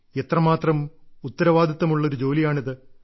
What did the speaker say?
എത്രമാത്രം ഉത്തരവാദിത്തമുള്ള ഒരു ജോലിയാണിത്